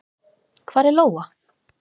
Hvar er Lóa?